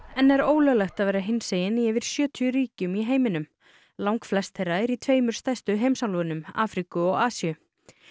enn er ólöglegt að vera hinsegin í yfir sjötíu ríkjum í heiminum langflest þeirra eru í tveimur stærstu heimsálfunum Afríku og Asíu